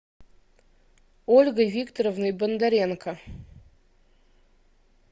ольгой викторовной бондаренко